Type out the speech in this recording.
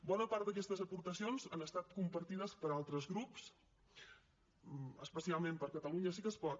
bona part d’aquestes aportacions han estat compartides per altres grups especialment per catalunya sí que es pot